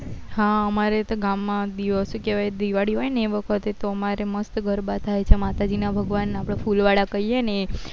હા અમારે તો ગામ માં દિવસે શું કેવાય દિવાળી હોય એ વખતે તો અમાર મસ્ત ગરબા થાય છે માતાજી ના ભગવાન ના ફૂલ વાળ કઈએ એ